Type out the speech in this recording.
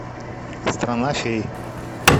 страна фей